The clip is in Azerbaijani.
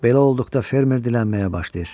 Belə olduqda fermer dilənməyə başlayır.